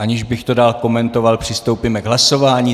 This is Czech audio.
Aniž bych to dál komentoval, přistoupíme k hlasování.